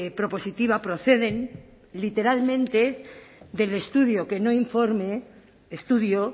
propositiva proceden literalmente del estudio que no informe estudio